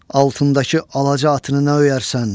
Altındakı alaca atını nə öyərsən?